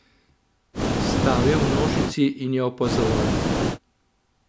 Stal je v množici in jo opazoval.